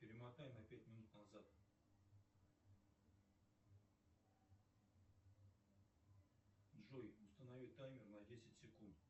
перемотай на пять минут назад джой установи таймер на десять секунд